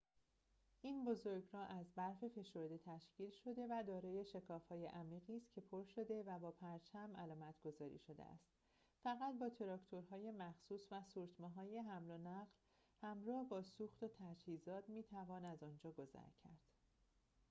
این بزرگراه از برف فشرده تشکیل شده و دارای شکاف‌های عمیقی است که پر شده و با پرچم علامتگذاری شده است فقط با تراکتورهای مخصوص و سورتمه‌های حمل و نقل همراه با سوخت و تجهیزات می‌توان از آنجا گذر کرد